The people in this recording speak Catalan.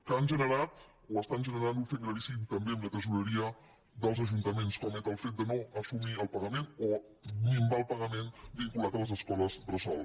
que han generat o estan generant un fet gravíssim també en la tresoreria dels ajuntaments com és el fet de no assumir el pagament o minvar el pagament vinculat a les escoles bressol